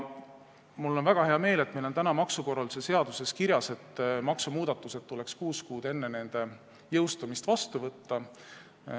Mul on väga hea meel, et meil on maksukorralduse seaduses kirjas, et maksumuudatused tuleks vastu võtta kuus kuud enne nende jõustumist.